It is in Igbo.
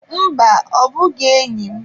Mba, ọ bụghị enyi m.